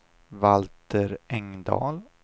Valter Engdahl